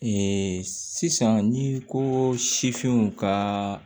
Ee sisan n'i ko sifinw ka